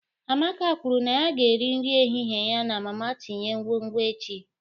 Amaka kwuru na ya ga-eri nri ehihie ya na mama tinye nkwonkwo echi.